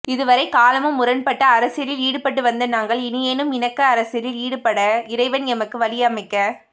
இதுவரை காலமும் முரண்பாட்டு அரசியலில் ஈடுபட்டு வந்த நாங்கள் இனியேனும் இணக்க அரசியலில் ஈடுபட இறைவன் எமக்கு வழி அமைக்க